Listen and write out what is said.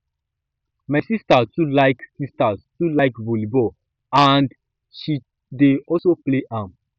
my sister too like sister too like volleyball and she dey also play am